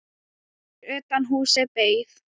Fyrir utan húsið beið